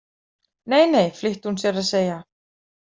Neinei, flýtti hún sér að segja.